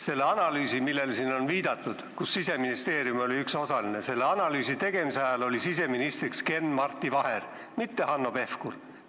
Selle analüüsi tegemise ajal, millele siin viidati ja kus Siseministeerium oli üks osaline, oli siseminister Ken-Marti Vaher, mitte Hanno Pevkur.